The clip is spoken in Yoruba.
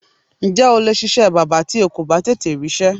Ǹjé̩ o lè s̩is̩é̩ bábà tí o kò bá tètè rís̩é̩?